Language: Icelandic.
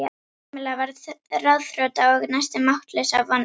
Kamilla varð ráðþrota og næstum máttlaus af vonleysi.